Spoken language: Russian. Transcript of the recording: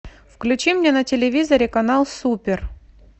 включи мне на телевизоре канал супер